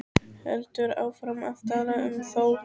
Heldur áfram að tala um Þór: